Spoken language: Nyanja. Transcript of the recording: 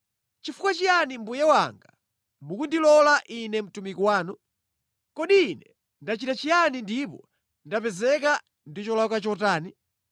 Nʼchifukwa chiyani mbuye wanga mukundilonda ine mtumiki wanu? Kodi ine ndachita chiyani ndipo ndapezeka ndi cholakwa chotani?